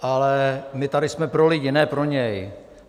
Ale my tady jsme pro lidi, ne pro něj!